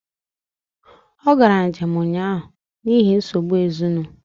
Ọ gara njém ụnyaahụ n’ihi nsogbu ezinụ